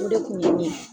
O de kun ye ɲɛ